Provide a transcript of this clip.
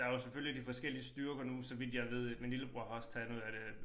Der jo selvfølgelig de forskellige styrker nu så vidt jeg ved ik min lillebror har også taget noget af det